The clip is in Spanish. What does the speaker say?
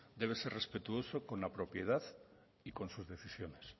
debe ser respetuoso con la propiedad y con sus decisiones